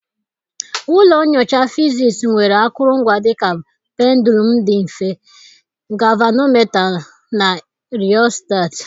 Ụlọ nyocha fiziisii nwere akụrụngwa dị ka pendụlụm dị mfe, gavanometa na riostat.